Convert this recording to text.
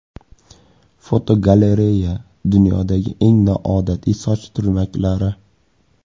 Fotogalereya: Dunyodagi eng noodatiy soch turmaklari.